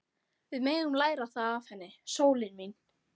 Við megum læra það af henni, sólin mín.